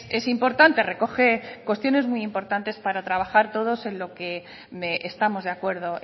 es importante recoge cuestiones muy importante para trabajar todos en lo que estamos de acuerdo